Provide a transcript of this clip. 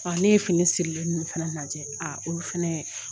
Ɔ ne ye fini sirilen ninnu fana lajɛ a o fɛnɛ